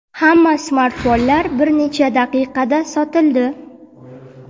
hamma smartfonlar bir necha daqiqada sotildi.